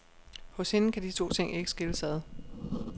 Hos hende kan de to ting ikke skilles ad.